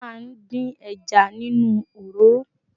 A máa ń dín ẹja nínú òroró